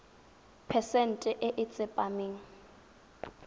phesente e e tsepameng